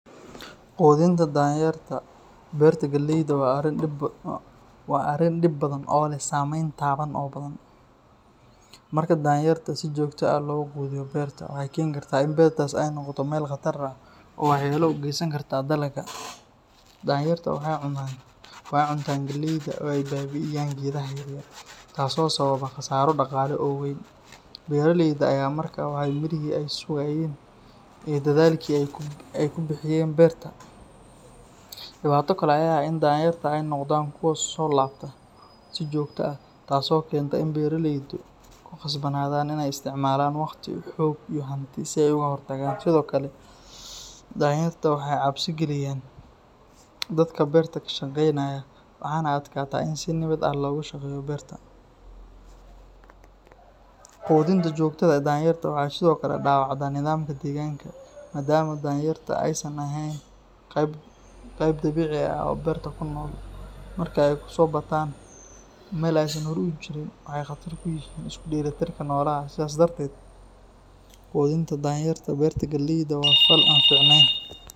Qudinta danyarta beerta galeyda waa arrin dhib badan oo leh saameyn taban oo badan. Marka danyarta si joogto ah loogu quudiyo beerta, waxay keentaa in beertaas ay noqoto meel khatar ah oo waxyeello u geysan karta dalagga. Danyarta waxay cuntaan galeyda oo ay baabi’iyaan geedaha yaryar, taasoo sababa khasaaro dhaqaale oo weyn. Beeraleyda ayaa markaa waaya mirihii ay sugayeen iyo dadaalkii ay ku bixiyeen beerta. Dhibaato kale ayaa ah in danyarta ay noqdaan kuwo ku soo laabta si joogto ah, taasoo keenta in beeraleydu ku khasbanaadaan inay isticmaalaan waqti, xoog iyo hanti si ay uga hortagaan. Sidoo kale, danyarta waxay cabsi geliyaan dadka beerta ka shaqeynaya, waxaana adkaata in si nabad ah loogu shaqeeyo beerta. Qudinta joogtada ah ee danyarta waxay sidoo kale dhaawacdaa nidaamka deegaanka, maadaama danyarta aysan ahayn qayb dabiici ah oo beerta ku nool. Marka ay ku soo bataan meel aysan hore uga jirin, waxay khatar ku yihiin isku dheelitirka noolaha kale. Sidaas darteed, quudinta danyarta beerta galeyda waa fal aan fiicnayn.